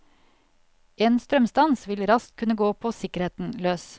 En strømstans vil raskt kunne gå på sikkerheten løs.